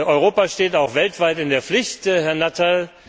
Europa steht auch weltweit in der Pflicht, Herr Nuttall.